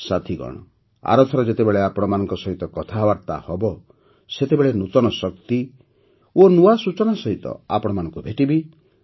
ସାଥିଗଣ ଆରଥର ଯେତେବେଳେ ଆପଣମାନଙ୍କ ସହିତ କଥାବାର୍ତ୍ତା ହେବ ସେତେବେଳେ ନୂତନ ଶକ୍ତି ଓ ନୂଆ ସୂଚନା ସହିତ ଆପଣମାନଙ୍କୁ ଭେଟିବି